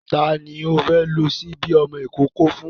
Ta ni o fẹ́ lo ṣíbí ọmọ ìkókó fún?